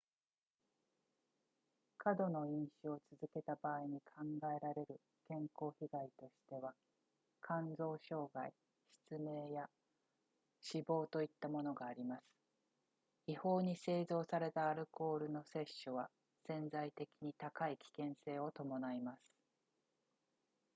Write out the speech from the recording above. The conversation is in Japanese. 過度の飲酒を続けた場合に考えられる健康被害としては肝臓障害失明や死亡といったものがあります違法に製造されたアルコールの摂取は潜在的に高い危険性を伴います